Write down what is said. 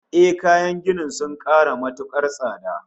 Ehh, kayan gini sun ƙara matuƙar tsada